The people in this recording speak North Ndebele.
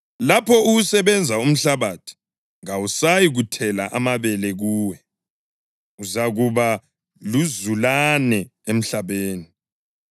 Lapho uwusebenza umhlabathi kawusayi kuthela amabele kuwe. Uzakuba luzulane emhlabeni.”